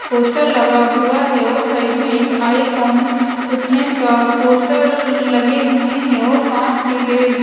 poster लगा हुआ है और साइड में एक आइकन फिटनेस का पोस्टर लगे हुए हैं और कांच के--